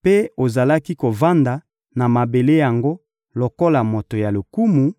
mpe ozalaki kovanda na mabele yango lokola moto ya lokumu;